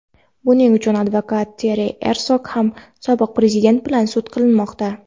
Buning uchun advokat Teri Ersog ham sobiq Prezident bilan sud qilinmoqda.